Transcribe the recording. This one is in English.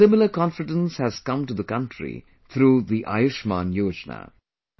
A similar confidence has come to the country through the 'Ayushman Yojana'